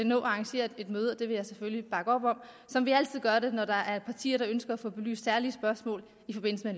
nå at arrangere et møde og det vil jeg selvfølgelig bakke op om som vi altid gør det når der er partier der ønsker at få belyst særlige spørgsmål i forbindelse